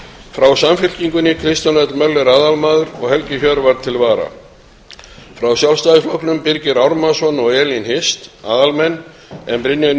frá samfylkingunni kristján l möller aðalmaður og helgi hjörvar til vara frá sjálfstæðisflokknum birgir ármannsson og elín hirst aðalmenn en brynjar